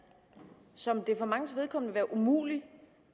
som det for manges vedkommende vil være umuligt